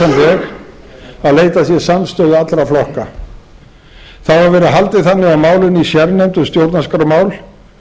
veg að leitað sé samstöðu allra flokka þá hefur verið haldið þannig á málinu í sérnefnd um stjórnarskrármál